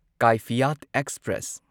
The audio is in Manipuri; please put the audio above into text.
ꯀꯥꯢꯐꯤꯌꯥꯠ ꯑꯦꯛꯁꯄ꯭ꯔꯦꯁ